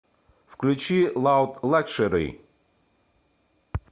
включи лауд лакшери